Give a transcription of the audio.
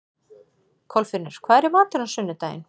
Kolfinnur, hvað er í matinn á sunnudaginn?